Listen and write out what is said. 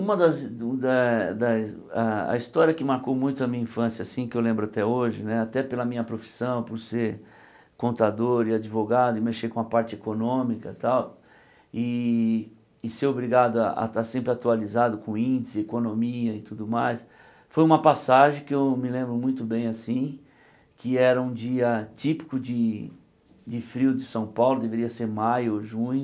Uma das do das das a... a história que marcou muito a minha infância assim, que eu lembro até hoje, até pela minha profissão, por ser contador e advogado e mexer com a parte econômica e tal, e e ser obrigado a estar sempre atualizado com índice, economia e tudo mais, foi uma passagem que eu me lembro muito bem assim, que era um dia típico de de frio de São Paulo, deveria ser maio ou junho,